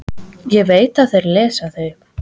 Ég veit að þeir lesa þau.